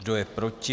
Kdo je proti?